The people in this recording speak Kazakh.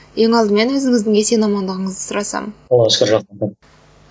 ең алдымен өзіңіздің есен амандығыңызды сұрасам аллаға шүкір